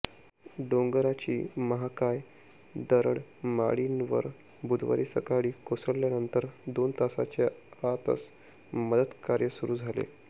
डोंगराची महाकाय दरड माळीणवर बुधवारी सकाळी कोसळल्यानंतर दोन तासांच्या आतच मदतकार्य सुरू झाले